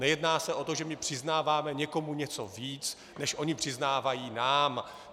Nejedná se o to, že my přiznáváme někomu něco víc, než oni přiznávají nám.